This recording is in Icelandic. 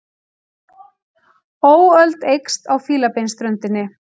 Óöld eykst á Fílabeinsströndinni